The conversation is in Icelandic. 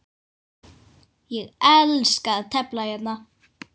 Ég elska að tefla hérna.